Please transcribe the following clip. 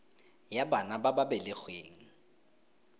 ya bana ba ba belegweng